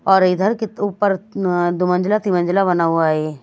और इधर के तो ऊपर अ दो मंजिला तीन मंजिला बना हुआ है।